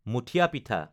মুঠীয়া পিঠা